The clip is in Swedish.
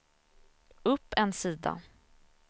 upp en sida